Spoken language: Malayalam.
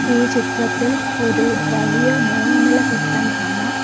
ഈ ചിത്രത്തിൽ ഒരു വലിയ മൂന്ന് നില കെട്ടിടം കാണാം.